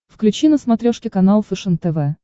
включи на смотрешке канал фэшен тв